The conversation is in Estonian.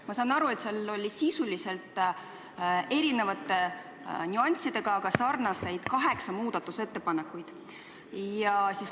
Ma saan aru, et seal oli sisuliselt erinevate nüanssidega, aga üldjoontes sarnaseid muudatusettepanekuid kaheksa.